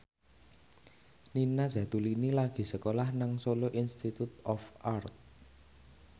Nina Zatulini lagi sekolah nang Solo Institute of Art